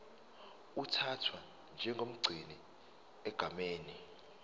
uthathwa njengomgcini egameni